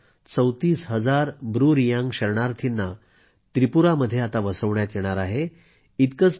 जवळपास 34 हजार ब्रू रियांग शरणर्थीयांना त्रिपुरामध्ये वसवण्यात येणार आहे